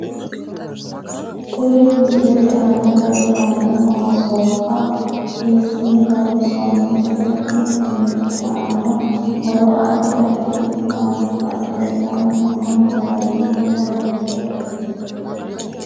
Kuri misilete aana leeltanno maasoobba hiisine loonsoonite kuni uduunichi aano horo addi additi isi maati badhensaani noo hijaari maa lawanohe